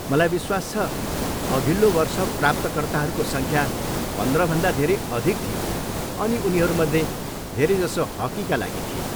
मलाई विश्वास छ. अघिल्लो वर्ष प्राप्तकर्ताहरूको सङ्ख्या पन्ध्रभन्दा धेरै अधिक थियो अनि उनीहरूमध्ये धेरैजसो हक्कीका लागि थिए।